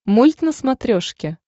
мульт на смотрешке